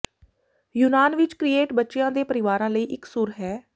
ਯੂਨਾਨ ਵਿਚ ਕ੍ਰੀਏਟ ਬੱਚਿਆਂ ਦੇ ਪਰਿਵਾਰਾਂ ਲਈ ਇਕਸੁਰ ਹੈ